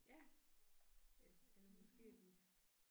Ja eller måske er de